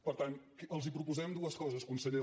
per tant els proposem dues coses conseller